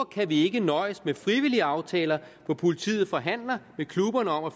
kan vi ikke nøjes med frivillige aftaler hvor politiet forhandler med klubberne om at